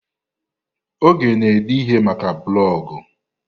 Oge na ede ihe maka blọgụ